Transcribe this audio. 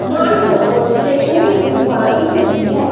Mansarovar stationery की दुकान दिख रही है।